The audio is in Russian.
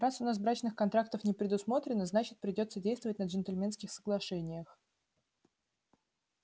раз у нас брачных контрактов не предусмотрено значит придётся действовать на джентльменских соглашениях